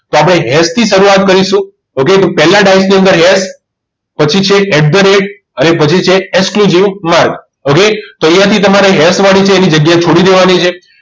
તો આપણે હેસ થી શરૂઆત કરીશું okay તો પહેલા ડાઈસ ની અંદર પછી છે at the rate અને પછી છે માર્ક okay તો અહીંયા થી તમારે એસ વાળા ની છે એ જગ્યા તમારે છોડી દેવાની છે